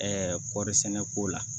kɔɔri sɛnɛ ko la